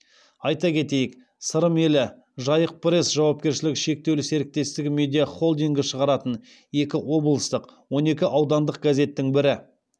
айта кетейік сырым елі жайық пресс жауапкершілігі шектеулі серіктестігі медиахолдингі шығаратын екі облыстық он екі аудандық газеттің бірі